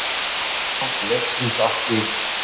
Undir lok leiksins átti